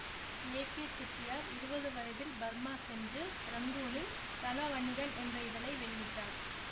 ஏ K Chettiar இருபது வயதில் Burma சென்று இரங்கூனில் தனவணிகன் என்ற இதழை வெளியிட்டார்